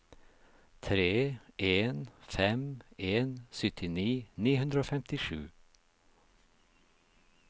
tre en fem en syttini ni hundre og femtisju